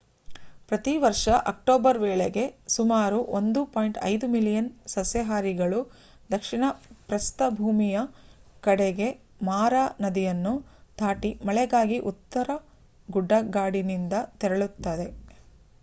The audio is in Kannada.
ಪ್ರತಿ ವರ್ಷ ಅಕ್ಟೋಬರ್ ವೇಳೆಗೆ ಸುಮಾರು 1.5 ಮಿಲಿಯನ್ ಸಸ್ಯಾಹಾರಿಗಳು ದಕ್ಷಿಣ ಪ್ರಸ್ಥಭೂಮಿಯ ಕಡೆಗೆ ಮಾರಾ ನದಿಯನ್ನು ದಾಟಿ ಮಳೆಗಾಗಿ ಉತ್ತರ ಗುಡ್ಡಗಾಡಿನಿಂದ ತೆರಳುತ್ತವೆ